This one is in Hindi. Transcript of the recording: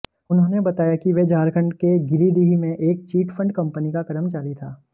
उन्होंने बताया कि वह झारखंड के गिरीदीह में एक चिट फंड कंपनी का कर्मचारी था